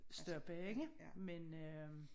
Stoppe ikke men øh